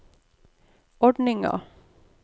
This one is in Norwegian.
ordninga